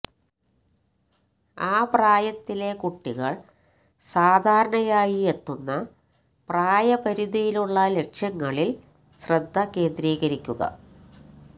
ആ പ്രായത്തിലെ കുട്ടികള് സാധാരണയായി എത്തുന്ന പ്രായപരിധിയിലുള്ള ലക്ഷ്യങ്ങളില് ശ്രദ്ധ കേന്ദ്രീകരിക്കുക